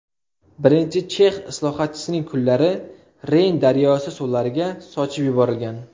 Birinchi chex islohotchisining kullari Reyn daryosi suvlariga sochib yuborilgan.